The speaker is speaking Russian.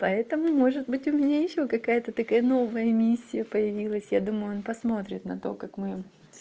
поэтому может быть у меня ещё какая-то такая новая миссия появилась я думаю он посмотрит на то как мы